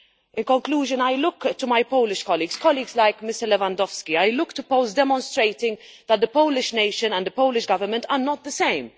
In conclusion, I look to my Polish colleagues colleagues like Mr Lewandowski and I look to Poles demonstrating that the Polish nation and the Polish Government are not one and the same.